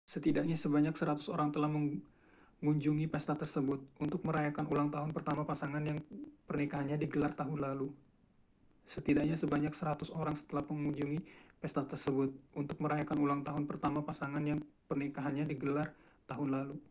setidaknya sebanyak 100 orang telah mengunjungi pesta tersebut untuk merayakan ulang tahun pertama pasangan yang pernikahannya digelar tahun lalu